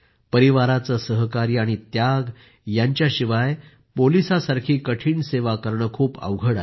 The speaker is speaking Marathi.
परिवाराचे सहकार्य आणि त्याग यांच्याशिवाय पोलिसासारखी कठिण सेवा करणे खूप अवघड आहे